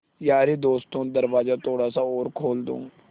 यारे दोस्तों दरवाज़ा थोड़ा सा और खोल दो